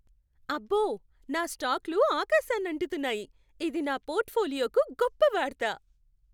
అబ్బో, నా స్టాక్లు ఆకాశాన్నంటుతున్నాయి! ఇది నా పోర్ట్ఫోలియోకు గొప్ప వార్త.